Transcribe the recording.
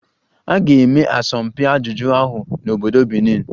A ga-eme asọmpi ajụjụ ahụ n'obodo Benin